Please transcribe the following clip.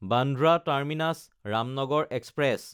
Bandra টাৰ্মিনাছ–ৰামনগৰ express